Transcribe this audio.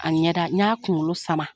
A ɲɛda n y'a kunkolo sama .